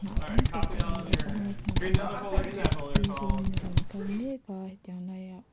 hnah tamtak a awm bawk a naupang pakhat sir zawngin a rawn kal mek a hetiang lai ah.